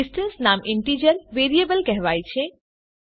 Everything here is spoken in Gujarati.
ડિસ્ટન્સ નામ ઈન્ટીજર વેરીએબલ કહેવાય છે